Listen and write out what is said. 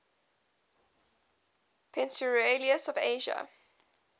peninsulas of asia